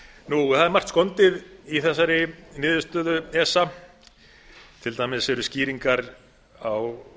það er margt skondið í þessari niðurstöðu esa til dæmis eru skýringar á